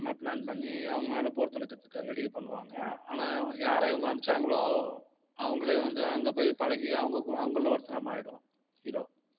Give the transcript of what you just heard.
இந்த மாதிரி plan பண்ணி அவங்க மேல போர் தொடுக்கறதுக்கு ready பண்ணுவாங்க. ஆனால் யார இவங்க அனுப்பிச்சாங்களோ அவங்களே வந்து அங்க போய் பழகி அவங்ககூ~ அவங்கள்ல ஒருத்தனா மாறிடுவான் hero